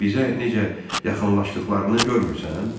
Bizə necə yaxınlaşdıqlarını görmürsən?